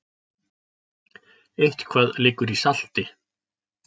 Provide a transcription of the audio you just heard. Eitthvað liggur í salti